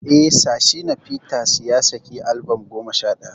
Eh, Sir Shina Peters ya saki albam goma sha shida.